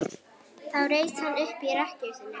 Þá reis hann upp í rekkju sinni.